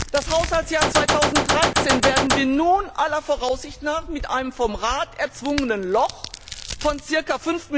Das Haushaltsjahr 2013 werden wir nun aller Voraussicht nach mit einem vom Rat erzwungenen Loch von ca.